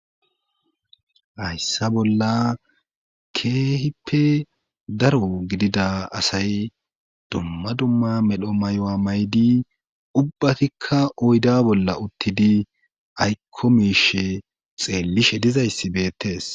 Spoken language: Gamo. hayssa bolla keeehippe daro gidida asay dumma dumma medho maywa maydi ubbatikka oyda bolla uttidi aykko miishe xeellishe dizayssi beettees